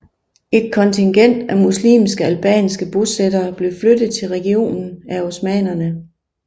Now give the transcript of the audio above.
Et kontingent af muslimske albanske bosættere blev flyttet til regionen af osmannerne